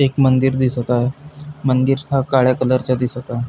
एक मंदिर दिसत आहे मंदिर हा काळ्या कलर चा दिसत आहे.